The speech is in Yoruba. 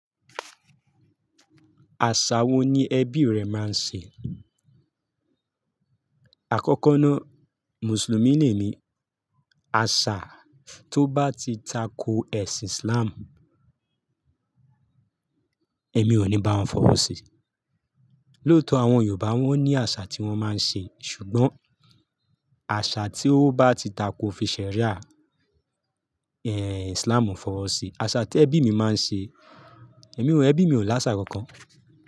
Àṣà wo ni ẹbí rẹ máa ń ṣe? Àkọ́kọ́ náà, Mùsùlùmí ni èmi. Àṣà tó bá ti tako ẹ̀sìn Islam, èmi ò ní bá wọn fọwọ́ sí. Lóòótọ́ àwọn Yorùbá wọ́n ní àṣà tí wọ́n máa ń ṣe, ṣùgbọ́n àṣà tí ó bá ti tako fiṣẹ́ríà, ẹ́ Islam ò fọwọ́ sí. Àṣà tí ẹbí mi máa ń ṣe, èmi ò ẹbí mi ò láṣà kankan.